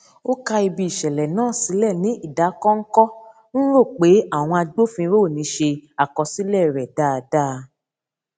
ó ká ibi ìṣẹlẹ náà sílẹ ní ìdákọnkọ n rò pé àwọn agbófinro ò ní ṣe àkọsílẹ rẹ dáadáa